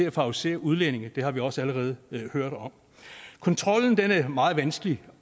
at favorisere udlændinge det har vi også allerede hørt om kontrollen er meget vanskelig